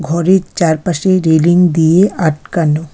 ঘরের চারপাশে রেলিং দিয়ে আটকানো।